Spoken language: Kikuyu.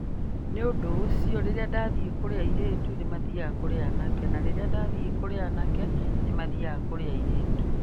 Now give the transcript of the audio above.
Nĩ ũndũ ũcio, rĩrĩa ndathiĩ kũrĩ airĩtu nĩ maathiaga kũrĩ anake, na rĩrĩa ndathiĩ kũrĩ anake nĩ maathiaga kũrĩ airĩtu".